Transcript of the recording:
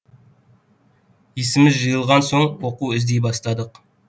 есіміз жиылған соң оқу іздей бастадық